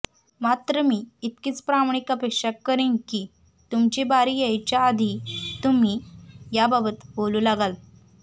मात्र मी इतकीच प्रामाणिक अपेक्षा करेन की तुमची बारी यायच्या आधी तुम्ही याबाबत बोलू लागाल